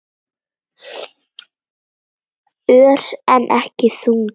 Ör, en ekki þungur.